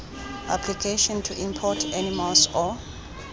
application to import animals or